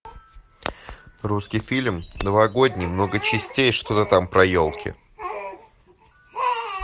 русский фильм новогодний много частей что то там про елки